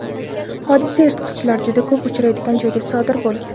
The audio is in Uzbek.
Hodisa yirtqichlar juda ko‘p uchraydigan joyda sodir bo‘lgan.